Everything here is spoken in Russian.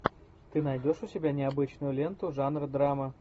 ты найдешь у себя необычную ленту жанра драма